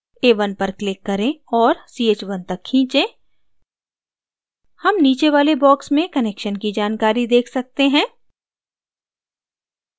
a1 पर click करें और ch1 तक खींचें हम नीचे वाले box में connection की जानकारी देख सकते हैं